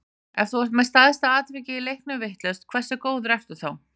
Ef þú ert með stærsta atvikið í leiknum vitlaust, hversu góður ertu þá?